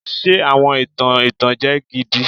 Ṣe awọn itan itanjẹ gidi